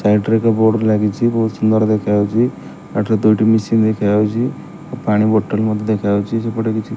side ରେ ଏକ board ଲାଗିଛି ବହୁତ ସୁନ୍ଦର ଦେଖାଯାଉଛି ବାଟରେ ଦୁଇଟି ମେସିନ ଦେଖାଯାଉଛି ପାଣି ବୋଟଲ ମଧ୍ୟ ଦେଖାଯାଉଛି ସେପଟେ କିଛି --